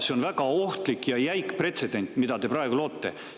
See on väga ohtlik ja jäik pretsedent, mida te praegu loote.